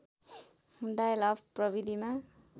dial up प्रविधिमा